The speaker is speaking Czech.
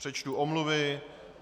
Přečtu omluvy.